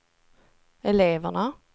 eleverna